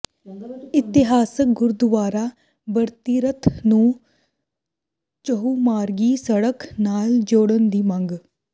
ਇਤਿਹਾਸਕ ਗੁਰਦੁਆਰਾ ਬਡਤੀਰਥ ਨੂੰ ਚਹੁੰਮਾਰਗੀ ਸੜਕ ਨਾਲ ਜੋੜਨ ਦੀ ਮੰਗ